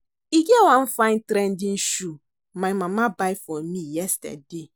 E get one fine trending shoe my mama buy for me yesterday